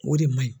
O de man ɲi